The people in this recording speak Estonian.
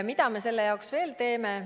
Mida me selle jaoks veel teeme?